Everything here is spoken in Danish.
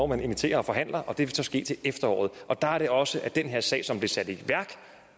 man inviterer og forhandler og det vil så ske til efteråret og der er det også at i den her sag som blev sat i værk